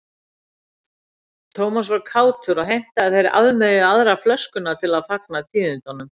Thomas var kátur og heimtaði að þeir afmeyjuðu aðra flöskuna til að fagna tíðindunum.